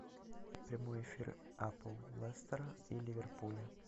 прямой эфир апл лестера и ливерпуля